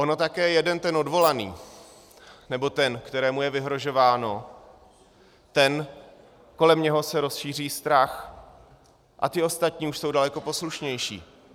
Ono také jeden ten odvolaný, nebo ten, kterému je vyhrožováno, ten, kolem něho se rozšíří strach, a ti ostatní už jsou daleko poslušnější.